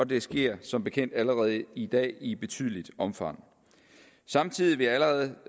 det sker som bekendt allerede i dag i betydeligt omfang samtidig vil jeg allerede